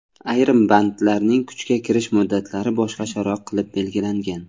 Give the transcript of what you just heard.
Ayrim bandlarning kuchga kirish muddatlari boshqacharoq qilib belgilangan.